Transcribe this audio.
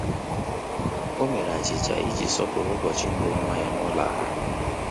Ọ́ mèrè achịcha iji sọ́pụ́rụ́ ụ́bọ̀chị̀ mbụ nwa ya n’ụ́lọ́ ákwụ́kwọ́.